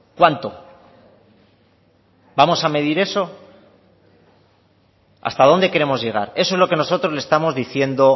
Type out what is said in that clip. cuánto vamos a medir eso hasta dónde queremos llegar eso es lo que nosotros le estamos diciendo